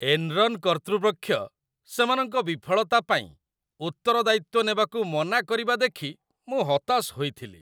'Enron' କର୍ତ୍ତୃପକ୍ଷ ସେମାନଙ୍କ ବିଫଳତା ପାଇଁ ଉତ୍ତରଦାୟିତ୍ୱ ନେବାକୁ ମନା କରିବା ଦେଖି ମୁଁ ହତାଶ ହୋଇଥିଲି।